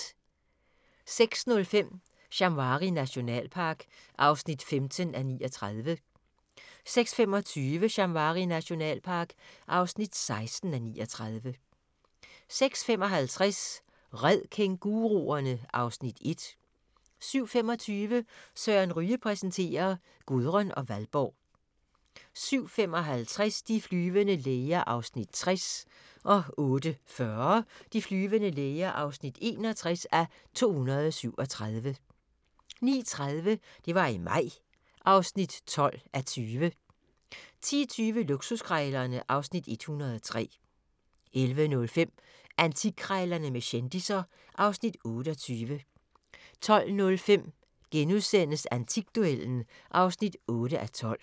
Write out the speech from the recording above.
06:05: Shamwari nationalpark (15:39) 06:25: Shamwari nationalpark (16:39) 06:55: Red kænguruerne! (Afs. 1) 07:25: Søren Ryge præsenterer: Gudrun og Valborg 07:55: De flyvende læger (60:237) 08:40: De flyvende læger (61:237) 09:30: Det var i maj (12:20) 10:20: Luksuskrejlerne (Afs. 103) 11:05: Antikkrejlerne med kendisser (Afs. 28) 12:05: Antikduellen (8:12)*